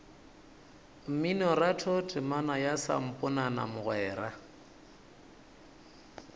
mminoratho temana ya samponana mogwera